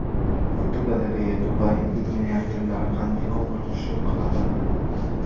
Fotogalereya: Dubay milliarderlari qanday ko‘ngilxushlik qiladi?.